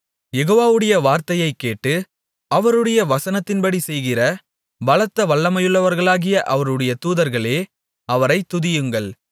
யெகோவாவுடைய வார்த்தையைக் கேட்டு அவருடைய வசனத்தின்படி செய்கிற பலத்த வல்லமையுள்ளவர்களாகிய அவருடைய தூதர்களே அவரைத் துதியுங்கள்